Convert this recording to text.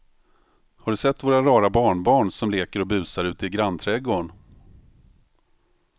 Har du sett våra rara barnbarn som leker och busar ute i grannträdgården!